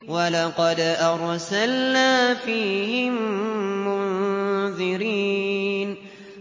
وَلَقَدْ أَرْسَلْنَا فِيهِم مُّنذِرِينَ